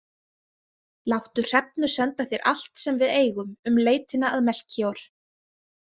Láttu Hrefnu senda þér allt sem við eigum um leitina að Melkíor.